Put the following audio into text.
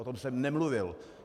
O tom jsem nemluvil.